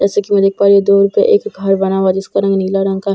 जैसा की मैं देख पा रही हूँ दो एक घर बना हुआ हैं जिसका रंग नीला रंग का हैं जैसा की मैं --